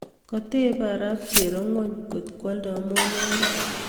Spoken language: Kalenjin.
Katebei arap cherongony kot kwaldoi molonik